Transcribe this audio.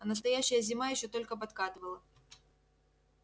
а настоящая зима ещё только подкатывала